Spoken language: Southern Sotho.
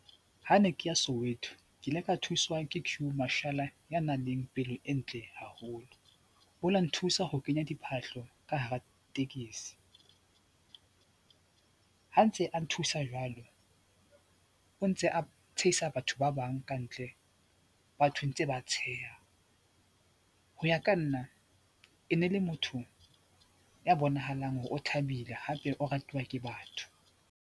Ha ne ke ya Soweto, ke ile ka thuswa ke Queue Marshall ya nang le pelo e ntle haholo. O la nthusa ho kenya diphahlo ka hara tekesi, ha ntse a nthusa jwalo o ntse a tshehisa batho ba bang ka ntle, batho ntse ba tsheha. Ho ya ka nna e ne le motho ya bonahalang hore o thabile hape o ratuwa ke batho.